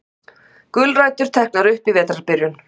Gulrætur teknar upp í vetrarbyrjun